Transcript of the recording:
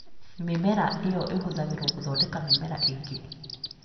Mĩmera ĩyo ĩhũthagĩrũo gũthondeka mĩmera ĩngĩ